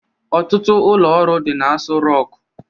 Ọtụtụ ụlọ ọrụ dị n'Asọ Rọkụ.